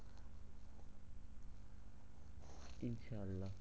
ইনশাআল্লা